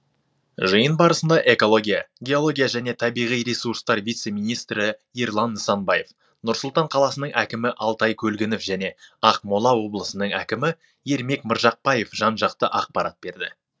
жиын барысында экология геология және табиғи ресурстар вице министрі ерлан нысанбаев нұр сұлтан қаласының әкімі алтай көлгінов және ақмола облысының әкімі ермек мыржықпаев жан жақты ақпарат берді